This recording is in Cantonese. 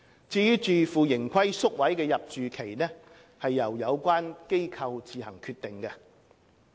至於自負盈虧宿位的入住期則由有關機構自行決定。